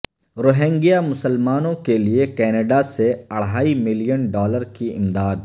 Rohingya مسلمانوں کے لیے کینیڈا سے اڑھائی ملین ڈالر کی امداد